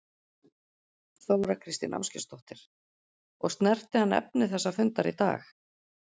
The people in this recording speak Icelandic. Þóra Kristín Ásgeirsdóttir: Og snerti hann efni þessa fundar í dag?